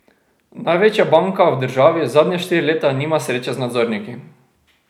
Največja banka v državi zadnja štiri leta nima sreče z nadzorniki.